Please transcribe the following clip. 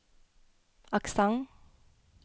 aksent